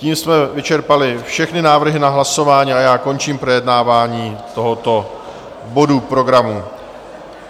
Tím jsme vyčerpali všechny návrhy na hlasování a já končím projednávání tohoto bodu programu.